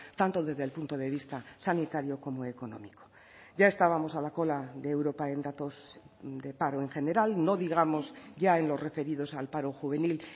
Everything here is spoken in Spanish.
tanto desde el punto de vista sanitario como económico ya estábamos a la cola de europa en datos de paro en general no digamos ya en los referidos al paro juvenil